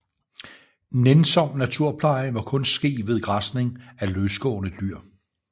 Nænsom naturpleje må kun ske ved græsning af løsgående dyr